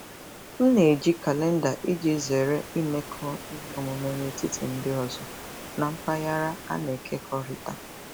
M na-eji kalenda iji zere imekọ ihe omume n'etiti ndị ọzọ na mpaghara a na-ekekọrịta.